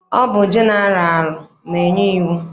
Ọ bụ jeneralụ na-enye iwu.